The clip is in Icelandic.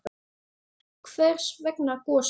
Hvers vegna Gosi?